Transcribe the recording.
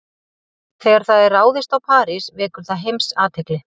Þegar það er ráðist á París vekur það heimsathygli.